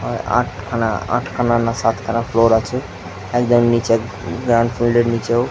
আট খানা আট খানা না সাত খানা ফ্লোর আছে একদম নিচের গ্রাউন্ড ফোল্ড এর নীচেও।